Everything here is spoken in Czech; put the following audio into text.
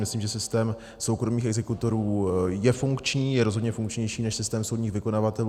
Myslím, že systém soukromých exekutorů je funkční, je rozhodně funkčnější než systém soudních vykonavatelů.